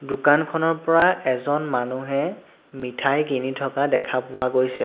দোকানখনৰ পৰা এজন মানুহে মিঠাই কিনি থকা দেখা পোৱা গৈছে।